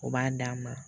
O b'a d'an ma